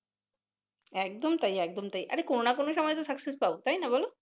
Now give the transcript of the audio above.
একদম তাই একদম তাই আরে কোন নাহ কোন সময় তো scuccess পাবো তাইনা বলো